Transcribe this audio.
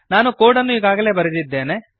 ನಾನು ಕೋಡನ್ನು ಈಗಾಗಲೇ ಬರೆದಿದ್ದೇನೆ